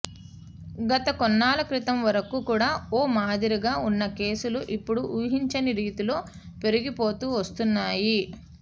గత కొన్నాళ్ల కితం వరకు కూడా ఓ మాదిరిగా ఉన్న కేసులు ఇప్పుడు ఊహించని రీతిలో పెరిగిపోతూ వస్తున్నాయి